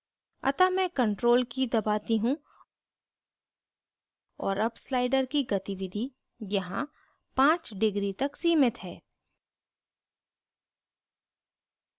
अतः मैं control की दबाती हूँ और अब slider की गतिविधि यहाँ 5 degrees तक सीमित है